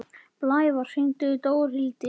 Blævar, hringdu í Dórhildi.